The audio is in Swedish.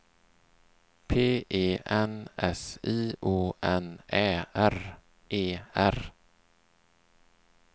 P E N S I O N Ä R E R